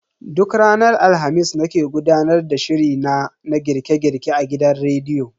Duk ranar Alhamis nake gudanar da shiri na na girke girke a gidan rediyo.